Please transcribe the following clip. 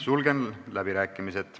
Sulgen läbirääkimised.